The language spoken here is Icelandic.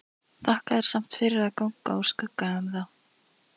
Þakka þér samt fyrir að ganga úr skugga um það.